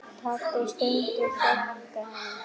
Pabbi stundi þungan.